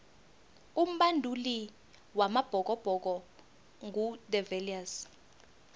umbanduli wamabhokobhoko ngu de viliers